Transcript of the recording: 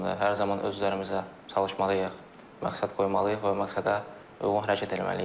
Hər zaman öz üzərimizə çalışmalıyıq, məqsəd qoymalıyıq və məqsədə uyğun hərəkət eləməliyik.